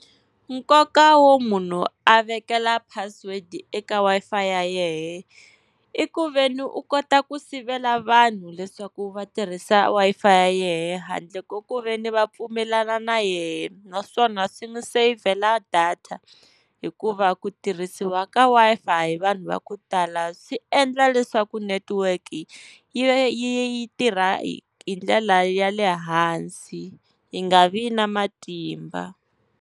Nkoka wo munhu a vekela password eka Wi-Fi ya yehe, i ku veni u kota ku sivela vanhu leswaku va tirhisa Wi-Fi ya yehe handle ko ku veni va pfumelana na yehe. Naswona swi n'wi savhela data, hikuva ku tirhisiwa ka Wi-Fi hi vanhu va ku tala swi endla leswaku netiweke yi tirha hi hi ndlela ya le hansi yi nga vi na matimba.